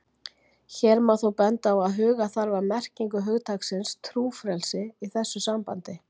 Hér má þó benda á að huga þarf að merkingu hugtaksins trúfrelsi í þessu sambandi.